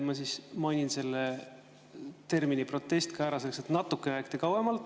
Ma siis mainin ka selle termini "protest" ära, selleks et rääkida natukene kauem.